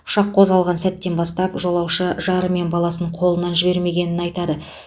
ұшақ қозғалған сәттен бастап жолаушы жары мен баласын қолынан жібермегенін айтады